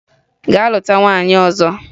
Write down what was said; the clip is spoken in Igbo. Gaa lụta nwaanyị ọzọ!